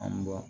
An b'o